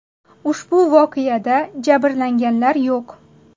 Ushbu voqeada jabrlanganlar yo‘q.